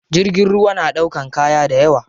Jirgin ruwa na ɗaukan kaya dayawa.